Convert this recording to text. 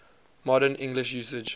modern english usage